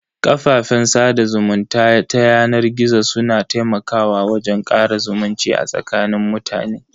Kafafen sada zumunta ta yanar gizo su na taimakawa wajen kara zumunci a tsakanin mutane.